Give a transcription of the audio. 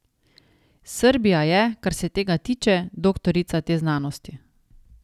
Srbija je, kar se tega tiče, doktorica te znanosti.